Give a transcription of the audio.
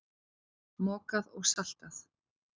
Mokað og saltað.